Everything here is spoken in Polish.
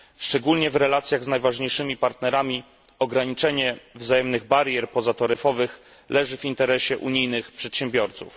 Szczególnie w relacjach z najważniejszymi partnerami ograniczenie wzajemnych barier pozataryfowych leży w interesie unijnych przedsiębiorców.